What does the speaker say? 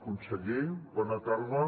conseller bona tarda